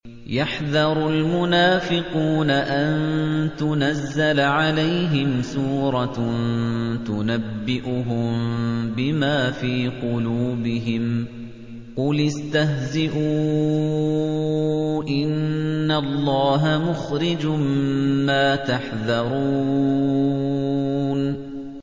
يَحْذَرُ الْمُنَافِقُونَ أَن تُنَزَّلَ عَلَيْهِمْ سُورَةٌ تُنَبِّئُهُم بِمَا فِي قُلُوبِهِمْ ۚ قُلِ اسْتَهْزِئُوا إِنَّ اللَّهَ مُخْرِجٌ مَّا تَحْذَرُونَ